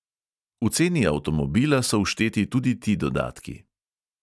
V ceni avtomobila so všteti tudi ti dodatki.